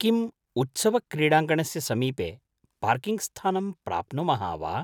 किम् उत्सवक्रीडाङ्गणस्य समीपे पार्किङ्ग्स्थानं प्राप्नुमः वा?